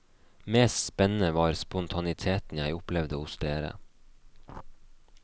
Mest spennende var spontaniteten jeg opplevde hos dere.